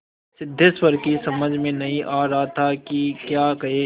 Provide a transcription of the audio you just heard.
सिद्धेश्वर की समझ में नहीं आ रहा था कि क्या कहे